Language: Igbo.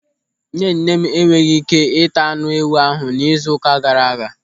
Nnenne e nweghị ị́ké ịta anụ ewụ ahụ n'izu ụka gaara aga.